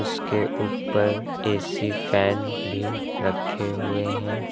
उसके ऊपर AC fan भी रखे हुए।